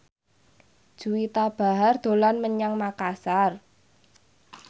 Juwita Bahar dolan menyang Makasar